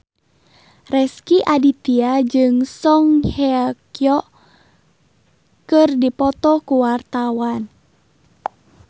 Rezky Aditya jeung Song Hye Kyo keur dipoto ku wartawan